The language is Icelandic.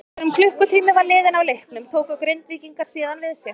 Þegar um klukkutími var liðinn af leiknum tóku Grindvíkingar síðan við sér.